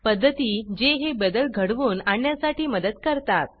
पद्धती जे हे बदल घडवून आणण्यासाठी मदत करतात